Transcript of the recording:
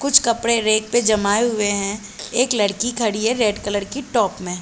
कुछ कपड़े रेक पे जमाये हुए है। एक लड़की खड़ी है रेड कलर की टॉप में--